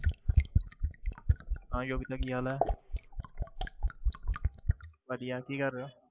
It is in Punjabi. ਹਾਂ ਯੋਗਿਤਾ ਕੀ ਹਾਲ ਹੈ ਵਧੀਆ ਕੀ ਕਰ ਰਹੇ ਹੋ?